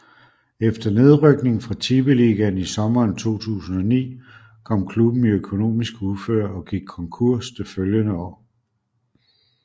Efter nedrykning fra Tippeligaen i sommeren 2009 kom klubben i økonomisk uføre og gik konkurs det følgende år